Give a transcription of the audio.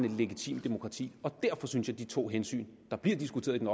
et legitimt demokrati og derfor synes jeg at de to hensyn der bliver diskuteret i den